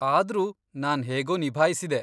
ಆದ್ರೂ ನಾನ್ ಹೇಗೋ ನಿಭಾಯ್ಸಿದೆ.